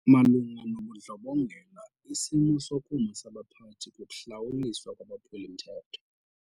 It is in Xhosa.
Malunga nobundlobongela isimo sokuma sabaphathi kukuhlawuliswa kwabaphuli-mthetho.